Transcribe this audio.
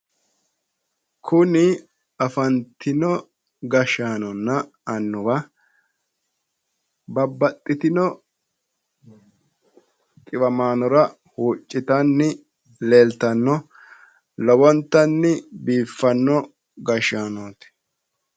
Kuni afantino gashshaanonna annuwa babbaxxitino dhiwamaanora huuccitanni leeltanno lowontanni biiffanno gashshaanooti.